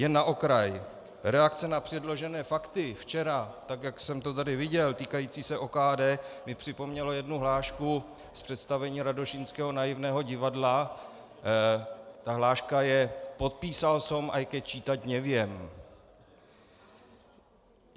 Jen na okraj, reakce na předložené fakty včera, tak jak jsem to tady viděl, týkající se OKD, mi připomněly jednu hlášku z představení Radošínského naivného divadla, ta hláška je: podpísal som, aj keď čítať neviem.